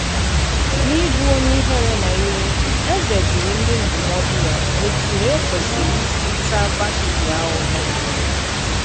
N’íbù onyé ìhèrè nà ìwè, èzè jùrù ndí ndúmòdù ya òtú e kwesìrì ísì tàá Vashitì àhụ̀hụ̀.